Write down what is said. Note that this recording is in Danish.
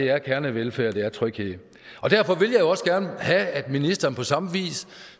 er kernevelfærd det er tryghed og derfor vil jeg også gerne have at ministeren på samme vis